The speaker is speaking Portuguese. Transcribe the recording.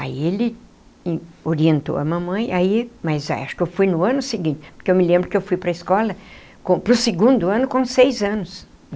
Aí ele orientou a mamãe aí, mas acho que eu fui no ano seguinte, porque eu me lembro que eu fui para a escola com para o segundo ano com seis anos.